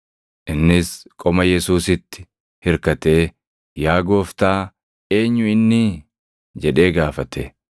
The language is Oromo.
Innis qoma Yesuusiitti hirkatee, “Yaa Gooftaa, eenyu innii?” jedhee gaafate.